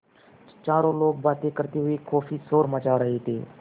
चारों लोग बातें करते हुए काफ़ी शोर मचा रहे थे